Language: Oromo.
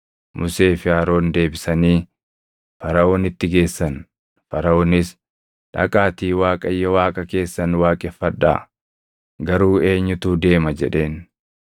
Musee fi Aroonin deebisanii Faraʼoonitti geessan; Faraʼoonis, “Dhaqaatii Waaqayyo Waaqa keessan waaqeffadhaa! Garuu eenyutu deema?” jedheen.